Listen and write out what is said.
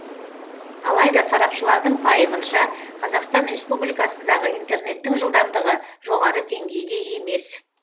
алайда сарапшылардың пайымынша қазақстан республикасындағы интернеттің жылдамдығы жоғары деңгейде емес